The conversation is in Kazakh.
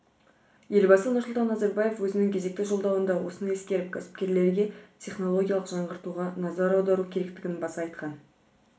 елбасы нұрсұлтан назарбаев өзінің кезекті жолдауында осыны ескеріп кәсіпкерлерге технологиялық жаңғыртуға назар аудару керектігін баса айтқан